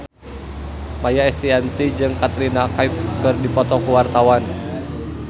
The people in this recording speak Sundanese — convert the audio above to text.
Maia Estianty jeung Katrina Kaif keur dipoto ku wartawan